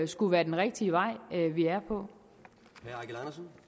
skulle være den rigtige vej vi er på kan